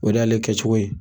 O de y'ale kɛ cogo ye